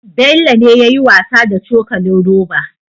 Bello ne yayi wasa da cokalin roba